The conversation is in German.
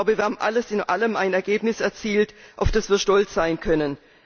Wir haben alles in allem ein Ergebnis erzielt, auf das wir stolz sein können.